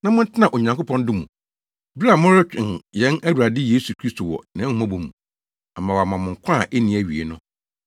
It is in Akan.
na montena Onyankopɔn dɔ mu bere a moretwɛn yɛn Awurade Yesu Kristo wɔ nʼahummɔbɔ mu ama wama mo nkwa a enni awiei no.